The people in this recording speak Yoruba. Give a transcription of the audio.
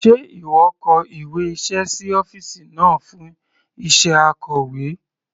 Sé ìwọ kọ ìwé iṣẹ́ sí ọ́fìsì náà fún iṣẹ́ Akọ̀wé?